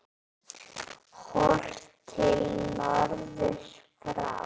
Horft til norðurs frá